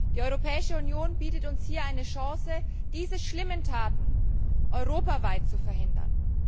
Die Europäische Union bietet uns hier eine Chance, diese schlimmen Taten europaweit zu verhindern.